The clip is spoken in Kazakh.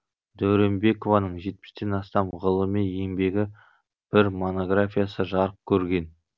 дәуренбекованың жетпістен астам ғылыми еңбегі бір монографиясы жарық көрген